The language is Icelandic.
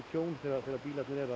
tjón þegar bílar eru